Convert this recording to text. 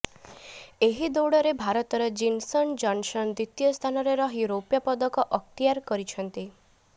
ଏହି ଦୌଡରେ ଭାରତର ଜିନସନ ଜନସନ ଦ୍ୱିତୀୟ ସ୍ଥାନରେ ରହି ରୋପ୍ୟ ପଦକ ଅକ୍ତଆର କରିଛନ୍ତି